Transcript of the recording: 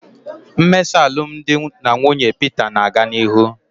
Mmesa alụmdi na nwunye Peter na-aga n'ihu